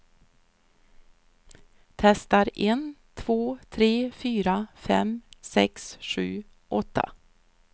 Testar en två tre fyra fem sex sju åtta.